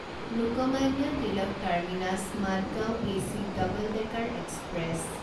Lokmanya Tilak terminus Madgaon AC double decker express